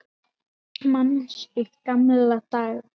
Manstu gamla daga?